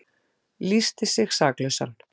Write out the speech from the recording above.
Lýsti sig saklausan